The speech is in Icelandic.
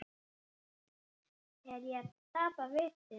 Er ég að tapa vitinu?